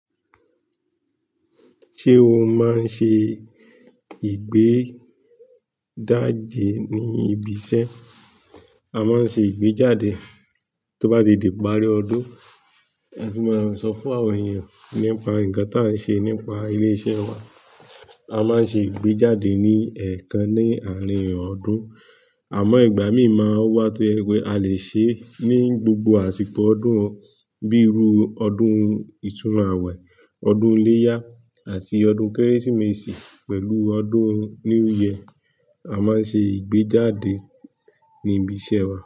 Ṣé o máa ń ṣe ìgbéjáde ní ibiṣẹ́? A máa ń ṣe ìgbéjáde tó bá ti di ìparí ọdún. A sì máa ń sọ fún àwọn èèyàn nípa nǹkan tí à ń ṣe nípa ilé iṣẹ́ wa. A máa ń ṣe ìgbéjáde ní ẹ̀ẹ̀kan ní àárín ọdún. Àmọ́ ìgbà míì máa wá tó jẹ pé a lè ṣe ní gbogbo àsìkò ọdún, bíi ru ọdún ìtúnu àwẹ̀, ọdún iléyá àti ọdún Kérésìmesì pẹ̀lú ọdún new year A máa ń ṣe ìgbéjáde ní ibi iṣẹ́ wa.